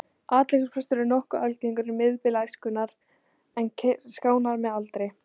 Athyglisbrestur er nokkuð algengur um miðbik æskunnar en skánar með aldri.